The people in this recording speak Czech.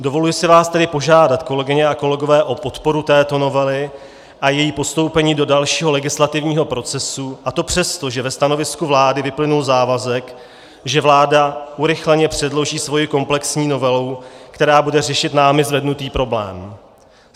Dovoluji si vás tedy požádat, kolegyně a kolegové, o podporu této novely a její postoupení do dalšího legislativního procesu, a to přesto, že ve stanovisku vlády vyplynul závazek, že vláda urychleně předloží svoji komplexní novelu, která bude řešit námi zvednutý problém.